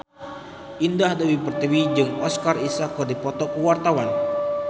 Indah Dewi Pertiwi jeung Oscar Isaac keur dipoto ku wartawan